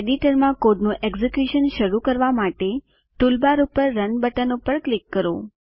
એડિટરમાં કોડનું એકઝીક્યુશન શરૂ કરવા માટે ટૂલબાર પર રન બટન પર ક્લિક કરો